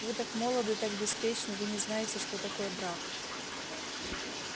вы так молоды так беспечны вы не знаете что такое брак